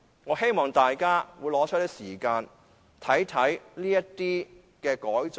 我希望大家撥出時間，看看這些改進。